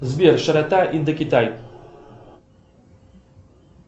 сбер широта индокитай